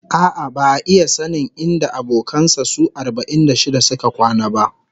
A'a, ba'a iya sanin inda abokan sa su arba'in da shida suka kwana ba